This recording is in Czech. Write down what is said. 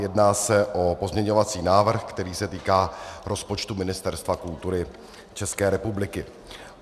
Jedná se o pozměňovací návrh, který se týká rozpočtu Ministerstva kultury České republiky.